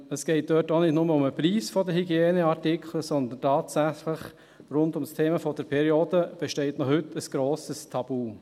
Es geht dort auch nicht nur um den Preis der Hygieneartikel, sondern tatsächlich besteht noch heute rund ums Thema der Periode ein grosses Tabu.